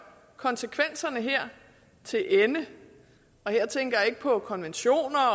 konsekvenserne her til ende her tænker jeg ikke på konventioner og